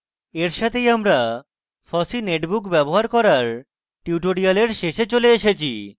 এর সাথেই আমরা fossee netbook ব্যবহার করার tutorial শেষে চলে এসেছি